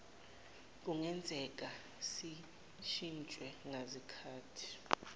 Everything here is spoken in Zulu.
kungenzeka zishintshwe ngazikhathi